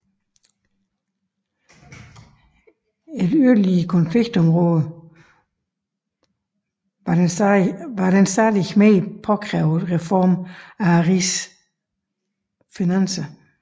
Et yderligere konfliktområde var den stadig mere påkrævede reform af rigets finanser